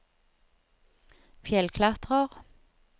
fjellklatrer